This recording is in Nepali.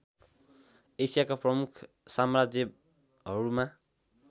एसियाका प्रमुख साम्राज्यहरूमा